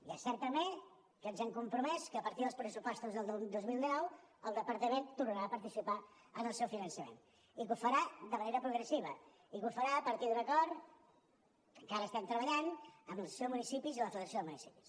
i és cert també que ens hem compromès que a partir dels pressupostos del dos mil dinou el departament tornarà a participar en el seu finançament i ho farà de manera progressiva i ho farà a partir d’un acord que encara estem treballant amb l’associació de municipis i amb la federació de municipis